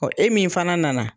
e min fana nana.